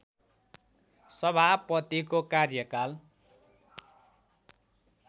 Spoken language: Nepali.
सभापतिको कार्यकाल